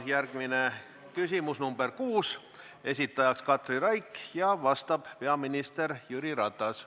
Järgmine küsimus on number 6, esitajaks Katri Raik ja vastab peaminister Jüri Ratas.